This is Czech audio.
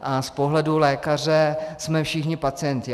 A z pohledu lékaře jsme všichni pacienti.